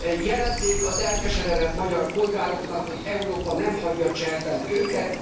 Jelezzék az elkeseredett magyar polgároknak, hogy Európa nem hagyja cserben őket.